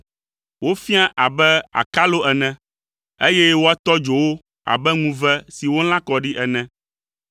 Woafiã abe akalo ene, eye woatɔ dzo wo abe ŋuve si wolã kɔ ɖi ene.”